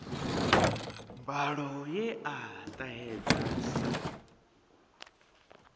mbalo ye a ṱahedza sa